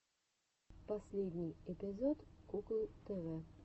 последний эпизод куклы тв